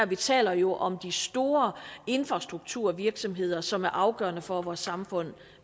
vi taler jo om de store infrastrukturvirksomheder som er afgørende for at vores samfund